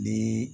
Ni